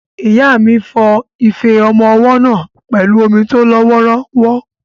Ìyá mi fọ ife ọmọ ọwọ́ náà pẹ̀lú omi tó lọ wọ́ọ́rọ́wọ́.